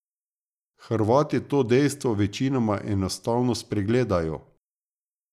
Hrvati to dejstvo večinoma enostavno spregledajo.